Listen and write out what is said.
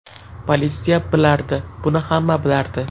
Politsiya bilardi, buni hamma bilardi.